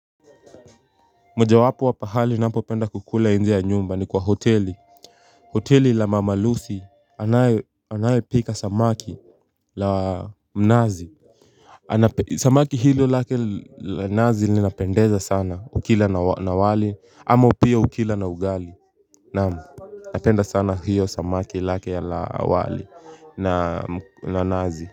Moja wapo wa pahali ninapopenda kukula nje ya nyumba ni kwa hoteli hoteli la mama Lucy anayepika samaki la mnazi Samaki hilo lake la nazi linapendeza sana ukila na wali ama pia ukila na ugali naam napenda sana hiyo samaki lake la wali na nazi.